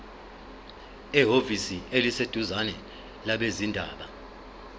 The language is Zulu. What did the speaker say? ehhovisi eliseduzane labezindaba